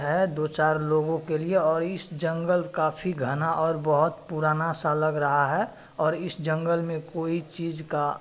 है दो चार लोगो के लिए और इस जंगल काफी घना और बहुत पुराना सा लग रहा है और इस जंगल में कोई चीज़ का--